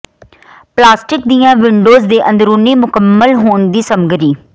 plastic ਦੀਆਂ windows ਦੇ ਅੰਦਰੂਨੀ ਮੁਕੰਮਲ ਹੋਣ ਦੀ ਸਮੱਗਰੀ